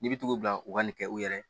N'i bi tugu'u bila u ka nin kɛ u yɛrɛ ye